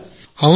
అవును సార్